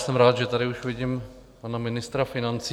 Jsem rád, že tady už vidím pana ministra financí.